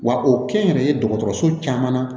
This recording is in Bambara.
Wa o kɛ n yɛrɛ ye dɔgɔtɔrɔso caman na